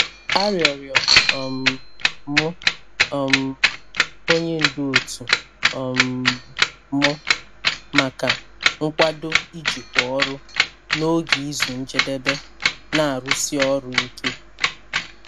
A rịọrọ um m um onye ndu otu um m maka nkwado ijikwa ọrụ n'oge izu njedebe na-arụsi ọrụ ike.